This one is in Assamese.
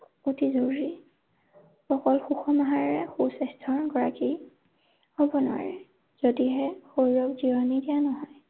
অতি জৰুৰী। অকল সুষম আহাৰে সুস্বাস্থ্যৰ গৰাকী হব নোৱাৰে। যদিহে শৰীৰক জিৰণি দিয়া নহয়।